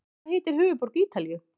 Hvað heitir höfuðborg Ítalíu?